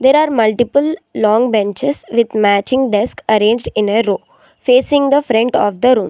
There are multiple long benches with matching desk arranged in a row facing the front of the room.